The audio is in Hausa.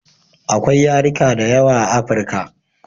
Akwai yarika da yawa a africa